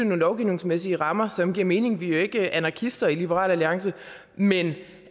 nogle lovgivningsmæssige rammer som giver mening vi er jo ikke anarkister i liberal alliance men